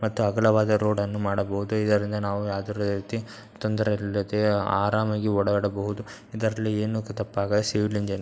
ಮತ್ತು ಅಗಲವಾದ ರೋಡನ್ನು ಮಾಡಬಹುದು. ಇದರಿನ್ದ ನಾವು ಯಾವುದ್ರ ರೀತಿ ತೊಂದ್ರೆ ಇಲ್ದ ರೀತಿ ಅರಾಮಾಗಿ ಓಡಾಡಬಹುದು ಇದ್ರಲ್ಲಿ ಏನು ತಪ್ಪಾಗ್ಗುದಿಲ್ಲ ಸಿವಿಲ್ ಇಂಜಿನಿಯರ್ --